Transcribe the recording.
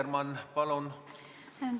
Annely Akkermann, palun!